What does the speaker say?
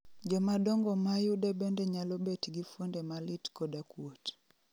Jomadongo ma yude bende nyalo bet gi fuonde malit koda kuot